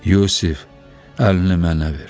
Yusif, əlini mənə ver.